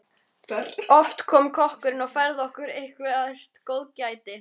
Oft kom kokkurinn og færði okkur eitthvert góðgæti.